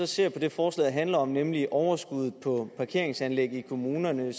ser på det forslaget handler om nemlig overskuddet på parkeringsanlæggene i kommunerne